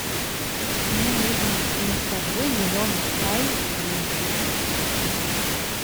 мне нужен листовой зеленый чай гринфилд